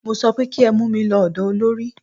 Mo sọ pé kí ẹ mú mí lọ ọ̀dọ olorì!